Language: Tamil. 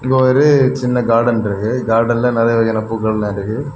இங்க ஒரு சின்ன கார்டன் இருக்கு கார்டன்ல நறைய வகையான பூக்களெல்லாம் இருக்கு.